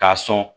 K'a sɔn